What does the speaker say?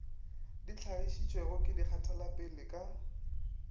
di hlagišitšwego ke dikgatelopele ka